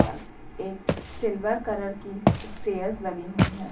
और एक silver colour की स्टेज लगी हुई है।